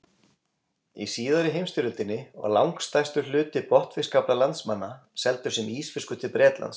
Í síðari heimsstyrjöldinni var langstærstur hluti botnfiskafla landsmanna seldur sem ísfiskur til Bretlands.